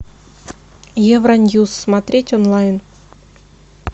евро ньюс смотреть онлайн